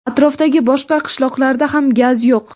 Atrofdagi boshqa qishloqlarda ham gaz yo‘q.